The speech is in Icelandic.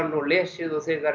og lesið og þegar